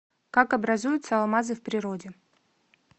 как образуются алмазы в природе